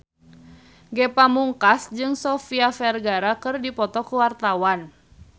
Ge Pamungkas jeung Sofia Vergara keur dipoto ku wartawan